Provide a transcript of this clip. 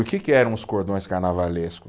O que que eram os cordões carnavalesco?